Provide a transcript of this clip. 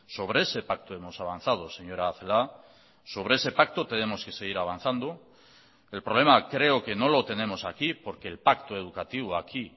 sobre ese pacto hemos avanzado señora celaá sobre ese pacto tenemos que seguir avanzando el problema creo que no lo tenemos aquí porque el pacto educativo aquí